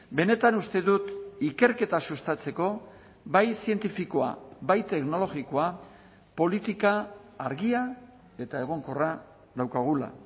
benetan uste dut ikerketa sustatzeko bai zientifikoa bai teknologikoa politika argia eta egonkorra daukagula